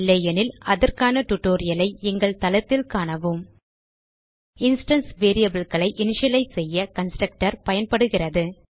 இல்லையெனில் அதற்கான tutorialஐ எங்கள் தளத்தில் காணவும் httpwwwspoken tutorialஆர்க் இன்ஸ்டான்ஸ் variableகளை இனிஷியலைஸ் செய்ய கன்ஸ்ட்ரக்டர் பயன்படுகிறது